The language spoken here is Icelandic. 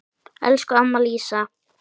Elsku amma Lísa.